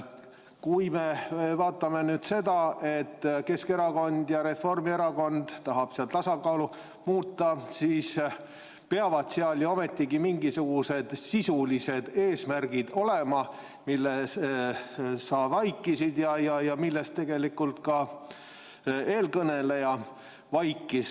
Kui me vaatame nüüd seda, et Keskerakond ja Reformierakond tahab seda tasakaalu muuta, siis peavad seal ju ometigi mingisugused sisulised eesmärgid olema, mille sa vaikisid maha ja millest tegelikult ka eelkõneleja vaikis.